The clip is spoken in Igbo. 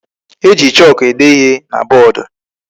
E ji chooku ede ihe na boodu.